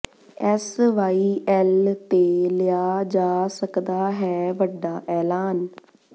S Y L ਤੇ ਲਿਆ ਜਾ ਸਕਦਾ ਹੈ ਵੱਡਾ ਐਲਾਨ